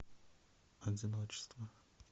одиночество